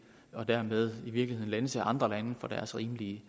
og dermed i virkeligheden lænse andre lande for deres rimelige